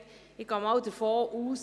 Ich gehe nicht davon aus.